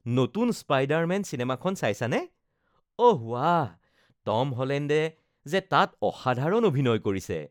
নতুন স্পাইডাৰ-মেন চিনেমাখন চাইছানে? অহ বাহ, টম হলণ্ডে যে তাত অসাধাৰণ অভিনয় কৰিছে।